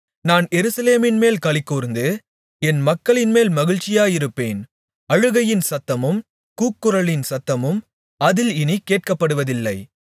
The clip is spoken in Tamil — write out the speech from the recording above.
நான் எருசலேமின்மேல் களிகூர்ந்து என் மக்களின்மேல் மகிழ்ச்சியாயிருப்பேன் அழுகையின் சத்தமும் கூக்குரலின் சத்தமும் அதில் இனிக் கேட்கப்படுவதில்லை